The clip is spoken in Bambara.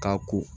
K'a ko